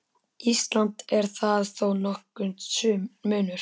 Íslands er þar þó nokkur munur.